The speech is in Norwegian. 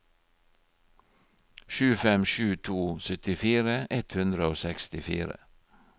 sju fem sju to syttifire ett hundre og sekstifire